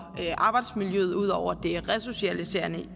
arbejdsmiljøet ud over det resocialiserende